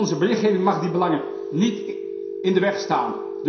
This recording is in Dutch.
Onze berichtgeving mag die belangen niet in de weg staan.